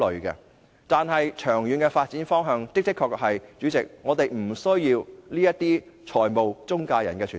代理主席，但長遠的發展方向是我們的確不需要中介公司。